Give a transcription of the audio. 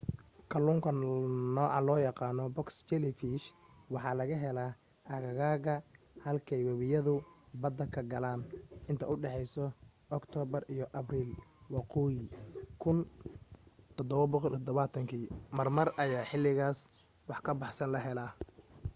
kalluunka nooca loo yaqaana box jellyfish waxaa laga helaa aagaga halkay webiyadu badda ka galaan inta u dhexaysa oktoobar iyo abril waqooyiga 1770 marmar ayaa xilligaas wax ka baxsan la helaa